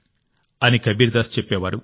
అని కబీర్దాస్ చెప్పేవారు